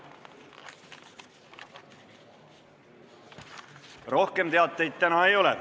Rohkem teateid täna ei ole.